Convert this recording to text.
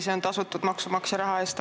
See on tasutud maksumaksja raha eest.